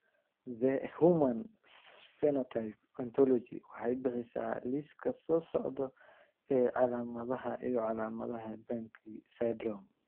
The Human Phenotype Ontology waxay bixisaa liiska soo socda ee calaamadaha iyo calaamadaha Banki syndrome.